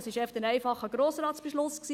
Das war ein einfacher Grossratsbeschluss.